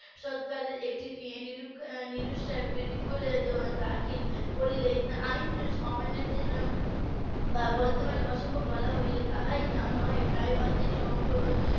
. একটি report দাখিল করলে আইন অমান্যর জন্য বা বর্তমানে অসম্ভব বলা হলে তাই .